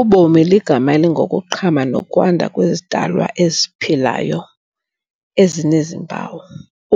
Ubomi ligama elingokuqhama nokwanda kwezidalwa eziphilayo ezinezimpawu,